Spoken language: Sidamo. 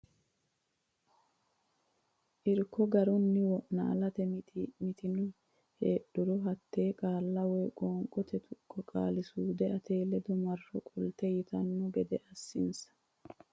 Irko Garunni wo naalate mitii mitanno heedhuro hatte qaalla woy qoonqote tuqqo qaali suude ate ledo marro qolte yitanno gede assinsa.